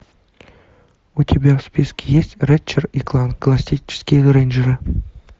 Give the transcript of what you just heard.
у тебя в списке есть рэтчет и кланк галактические рейнджеры